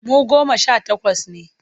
Mu goma sha takwas ne.